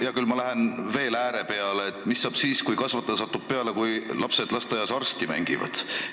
Hea küll, ma lähen äärmusesse: mis saab siis, kui kasvataja satub peale, kui lapsed lasteaias arsti mängivad?